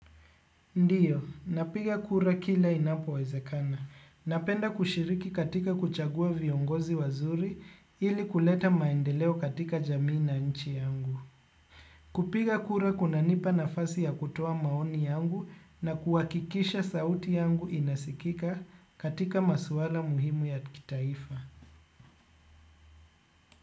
Ndiyo, napiga kura kila inapo wezekana. Napenda kushiriki katika kuchagua viongozi wazuri ili kuleta maendeleo katika jamii na nchi yangu. Kupiga kura kuna nipa nafasi ya kutoa maoni yangu na kuhakikisha sauti yangu inasikika katika maswala muhimu ya kitaifa.